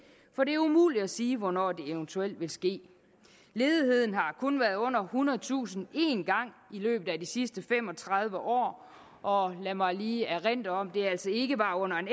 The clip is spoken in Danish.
for det er umuligt at sige hvornår det eventuelt vil ske ledigheden har kun været under ethundredetusind en gang i løbet af de sidste fem og tredive år og lad mig lige erindre om at det altså ikke var under en